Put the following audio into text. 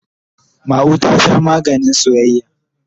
Ma'u ta Sha maganin soyayya.